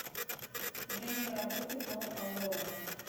время работы ноу аврора